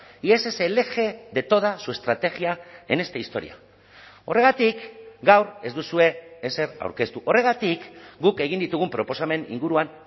y ese es el eje de toda su estrategia en esta historia horregatik gaur ez duzue ezer aurkeztu horregatik guk egin ditugun proposamen inguruan